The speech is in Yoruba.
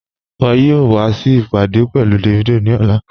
Iwọ̀ yóò wà sí ìpádé pẹ̀lú Davido ni ọ̀lá